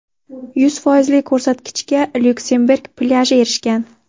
Yuz foizli ko‘rsatgichga Lyuksemburg plyaji erishgan.